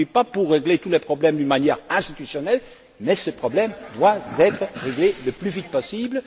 Je ne suis pas pour régler tous les problèmes d'une manière institutionnelle, mais ces problèmes doivent être réglés le plus vite possible.